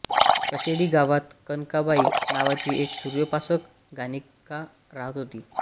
कशेळी गावात कनकाबाई नावाची एक सूर्योपासक गणिका राहत होती